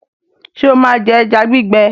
ṣe o má jé eja gbigbe?